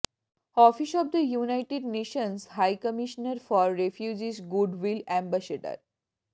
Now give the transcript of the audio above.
office of the United Nations high commissioner for refugees goodwill ambassador